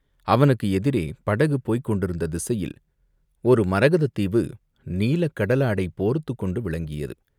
அவனுக்கு எதிரே படகு போய்க் கொண்டிருந்த திசையில் ஒரு மரகதத் தீவு நீலக் கடலாடை போர்த்துக்கொண்டு விளங்கியது.